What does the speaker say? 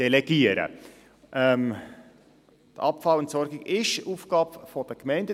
Die Abfallentsorgung ist Aufgabe der Gemeinden.